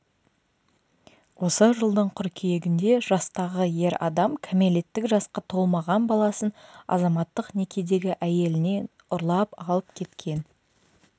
осы жылдың қыркүйегінде жастағы ер адам кәмелеттік жасқа толмаған баласын азаматтық некедегі әйелінен ұрлап алып кеткен